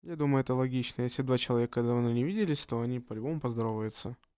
я думаю это логично если два человека давно не виделись то они по-любому поздороваются